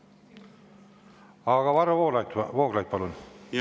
Aga Varro Vooglaid, palun!